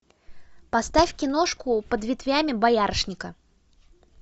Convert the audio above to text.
поставь киношку под ветвями боярышника